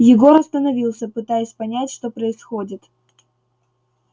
егор остановился пытаясь понять что происходит